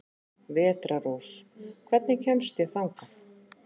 Vetrarrós, hvernig kemst ég þangað?